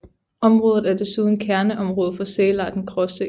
Området er desuden kærneområde for sælarten Gråsæl